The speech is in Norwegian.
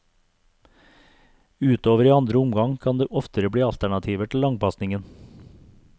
Utover i andre omgang kan det oftere bli alternativer til langpasningen.